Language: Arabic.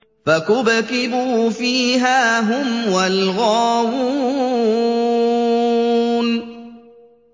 فَكُبْكِبُوا فِيهَا هُمْ وَالْغَاوُونَ